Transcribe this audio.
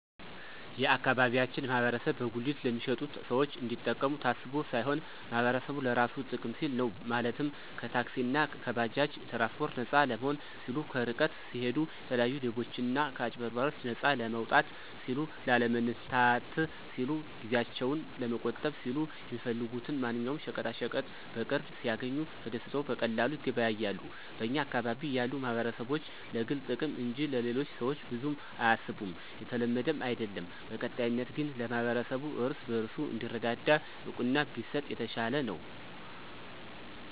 የአካባቢያችን ማህበረሰብ በጉሊት ለሚሸጡት ሰዎች እንዲጠቀሙ ታስቦ ሳይሆን ማህበረሰቡ ለራሱ ጥቅም ሲል ነው፤ ማለትም ከታክሲእና ከባጃጅ ትራንስፓርት ነፃ ለመሆን ሲሉ፣ ከርቀት ሲሂዱ የተለያዩ ሌቦችና ከአጭበርባሪዎች ነፃ ለመውጣት ሲሉ፣ ላለመንላታት ሲሉ፣ ጊዜአቸውን ለመቆጠብ ሲሉ፣ የሚፈልጉትን ማንኛውም ሸቀጣሸቀጥ በቅርብ ሲያግኙ ተደስተው በቀላሉ ይገበያያሉ። በኛ አካባቢ ያሉ ማህበረሰቦች ለግል ጥቅም እንጅ ለሌሎቹ ሰዎች ብዙም አያስቡም የተለመደም አይድለም። በቀጣይነት ግን ለማህበረሰቡ እርስ በርሱ እንዲረዳዳ እውቅና ቢሰጥ የተሻለ ነው።